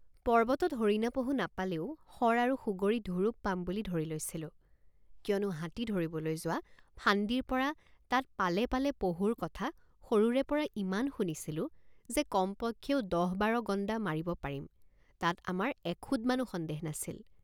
পৰ্বতত হৰিণাপহু নাপালেও শৰ আৰু সুগৰী ধুৰুপ পাম বুলি ধৰি লৈছিলো কিয়নো হাতী ধৰিবলৈ যোৱা ফান্দীৰপৰা তাত পালে পালে পহুৰ কথা সৰুৰেপৰা ইমান শুনিছিলোঁ যে কম পক্ষেও দহবাৰ গণ্ডা মাৰিব পাৰিম তাত আমাৰ এখুদমানো সন্দেহ নাছিল।